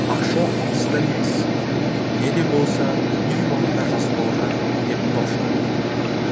ақша алыста емес не де болса үй маңына жасырылған деп топшылайды